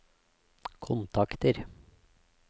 kontakter